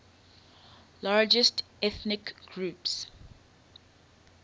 largest ethnic groups